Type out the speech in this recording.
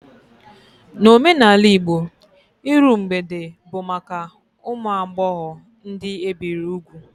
N'omenala Igbo, iru mgbede bụ maka ụmụ agbọghọ ndị ebiri ugwu